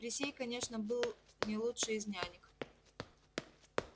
присей конечно был не лучшей из нянек